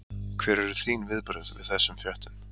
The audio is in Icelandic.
Hver eru þín viðbrögð við þessum fréttum?